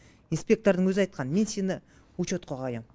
инспектордың өзі айтқан мен сені учетқа қоям